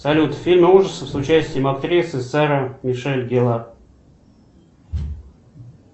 салют фильмы ужасов с участием актрисы сара мишель геллар